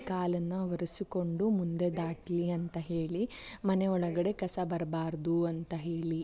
ಕಾಲನ್ನು ಒರೆಸಿಕೊಂಡು ಮುಂದೆ ದಾಟಲಿ ಅಂತ ಹೇಳಿ ಮನೆ ಒಳಗಡೆ ಕಸ ಬರಬಾರದು ಅಂತ ಹೇಳಿ --